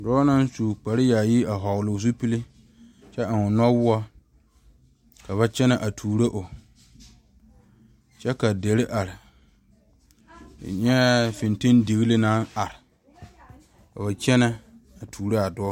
Dɔɔ naŋ su kpare yaayi a vɔgeli o zupili., kyɛ eŋe o noɔwɔɔ ka ba kyɛne a tuuro o kyɛ ka deri are, N nyɛɛ fintindugeli naŋ are kɔɔ kyɛne a tuuro a dɔɔ.